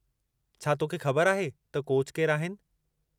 छा तोखे ख़बर आहे त कोच केर आहिनि?